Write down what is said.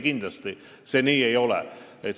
Kindlasti see nii ei ole.